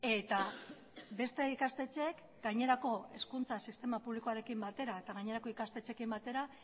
eta beste ikastetxeek gainerako hezkuntza sistema publikoarekin batera eta gainerako ikastetxeekin batera